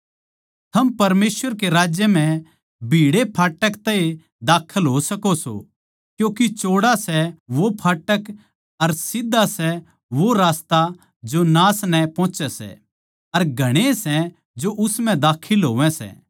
थम परमेसवर के राज्य भीड़ै फाटक तै ए बड सको सों क्यूँके चौड़ा सै वो फाटक अर सीध्धा सै वो रास्ता जो नाश नै पोहच्यै सै अर घणेए सै जो उस म्ह बडै सै